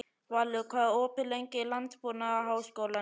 Valur, hvað er opið lengi í Landbúnaðarháskólanum?